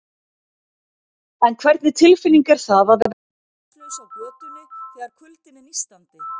En hvernig tilfinning er það að vera heimilislaus á götunni, þegar kuldinn er nístandi?